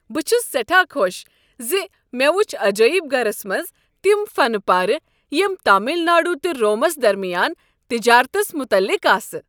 بہٕ چھس سیٹھاہ خۄش ز مےٚ وٗچھ عجٲیب گرس منٛز تم فن پارِ یم تامل ناڈوٗ تہٕ رومس درمیان تجارتس متعلق ٲسۍ۔